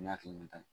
Ne hakili la